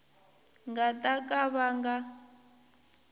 nga ta ka va nga